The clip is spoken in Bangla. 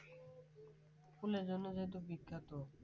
ফুলের জন্য যেহেতু বিখ্যাত